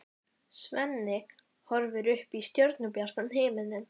Svenni horfir upp í stjörnubjartan himininn.